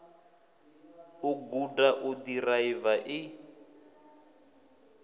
u guda u ḓiraiva i